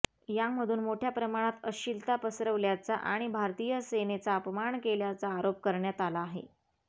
यामधून मोठ्या प्रमाणात अश्लीलता पसरवल्याचा आणि भारतीय सेनेचा अपमान केल्याचा आरोप करण्यात आला आहे